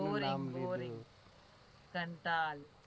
શૂ નામ લીધું boring